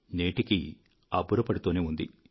నేటికీ అబ్బురపడుతూనే ఉంది